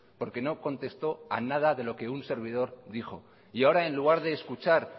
porque no contestó a nada de lo que un servidor dijo y ahora en lugar de escuchar